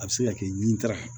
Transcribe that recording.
A bɛ se ka kɛ ɲitara